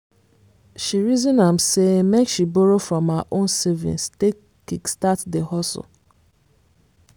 she reason am say make she borrow from her own savings take kickstart the hustle.